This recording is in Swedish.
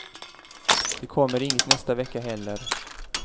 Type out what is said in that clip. Det kommer inget nästa vecka heller.